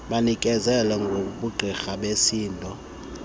banikezele ngobungqina besidingo